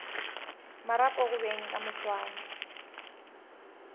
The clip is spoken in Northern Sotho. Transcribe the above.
marapo go beng ka moswane